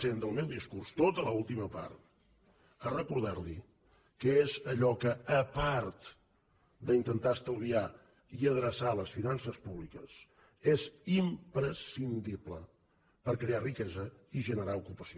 cent del meu discurs tota l’última part a recordar li què és allò que a part d’intentar estalviar i adreçar les finances públiques és imprescindible per crear riquesa i generar ocupació